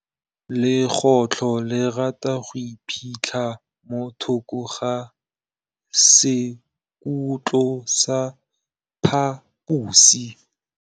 Legôtlô le rata go iphitlha mo thokô ga sekhutlo sa phaposi.